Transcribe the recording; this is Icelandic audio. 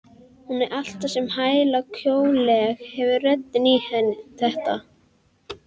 Hún er alltaf svo vælukjóaleg, hefur röddina í þetta.